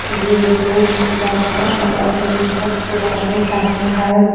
ये जो किला बना हुआ है ये बहोत पुराने टाइम का है और बो --